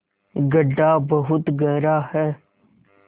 गढ्ढा बहुत गहरा है